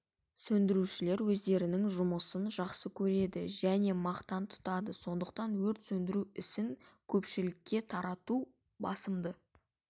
сөндірушілер өздерінің жұмысын жақсы көреді және мақтан тұтады сондықтан өрт сөндіру ісін көпшілікке тарату басымды